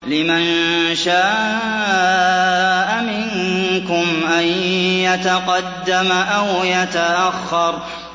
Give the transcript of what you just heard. لِمَن شَاءَ مِنكُمْ أَن يَتَقَدَّمَ أَوْ يَتَأَخَّرَ